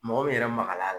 Mɔgɔ min yɛrɛ magay'a la